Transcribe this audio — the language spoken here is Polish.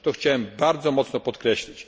chciałem to bardzo mocno podkreślić.